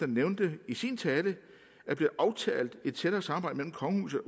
nævnte i sin tale er blevet aftalt et tættere samarbejde mellem kongehuset